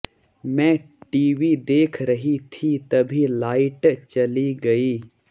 मैं टीवी देख रही थी तभी लाइट चली गई